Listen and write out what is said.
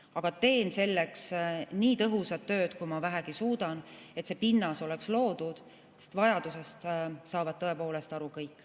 Aga teen selleks nii tõhusat tööd, kui ma vähegi suudan, et see pinnas oleks loodud, sest vajadusest saavad tõepoolest aru kõik.